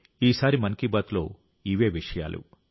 ఈసారి మన్ కీ బాత్లో ఇవే విషయాలు